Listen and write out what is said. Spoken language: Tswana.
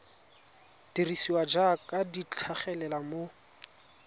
dirisiwa jaaka di tlhagelela mo